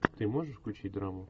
ты можешь включить драму